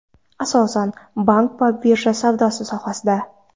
Asosan bank va birja savdosi sohasida.